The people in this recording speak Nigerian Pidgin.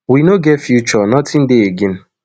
we no get future nothing dey again